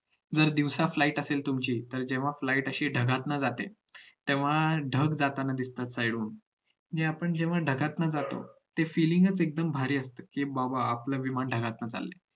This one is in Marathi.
जर दिवसा flight असेल तुमची तर flight अशी ढगातून जाते तेव्हा ढग जाताना दिसतात side डन आणि आपण जेव्हा ढगातून जातो ते feeling च एकदम भारी असत कि बाबा आपलं विमान ढगातून चाललंय